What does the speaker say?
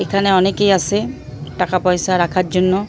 এখানে অনেকেই আসে টাকা পয়সা রাখার জন্য।